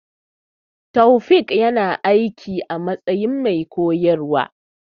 Taofiq ya na aiki a matsayin mai koyarwa